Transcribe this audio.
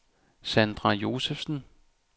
Sandra Josefsen